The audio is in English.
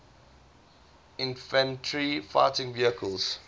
infantry fighting vehicles